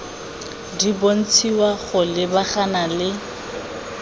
di bontshiwa go lebagana le